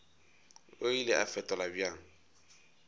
o ile a fetola bjang